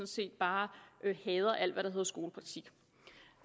set bare hader alt hvad der hedder skolepraktik